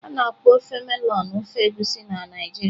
A na-akpọ ofe melọnụ ofe Egusi na Naijiria.